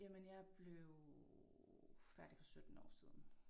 Jamen jeg blev færdig for 17 år siden